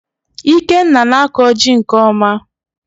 Ikenna na-akọ jị nke ọma